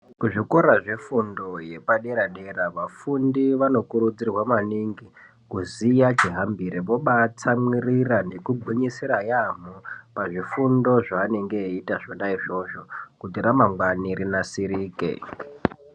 Kuzvikora zvefundo yepadera dera vakuri vanokurudzirwa maningi kuziya chihambire. Vobatsamwirira nekugwinyisira yaambo pazvifundo zvanenge veiita zvona izvozvo kuti ramangwani rinasirike.